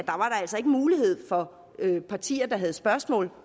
altså ikke mulighed for de partier der havde spørgsmål